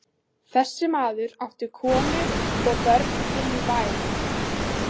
Þessi maður átti konu og börn inní bæ.